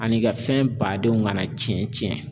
Ani i ka fɛn badenw kana cɛn cɛn